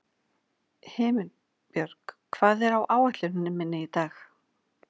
Himinbjörg, hvað er á áætluninni minni í dag?